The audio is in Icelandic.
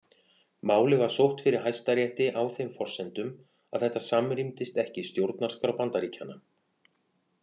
Málið var sótt fyrir Hæstarétti á þeim forsendum að þetta samrýmdist ekki stjórnarskrá Bandaríkjanna.